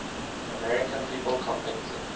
american people convicted